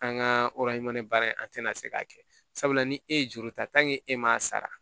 An ka baara in an tɛna se k'a kɛ sabula ni e ye juru ta e m'a sara